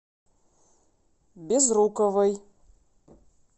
безруковой